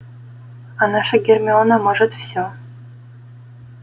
а наша гермиона может всё